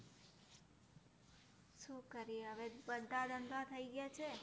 શું કરીએ હવે, બધા ધંધા થઈ ગયા છે.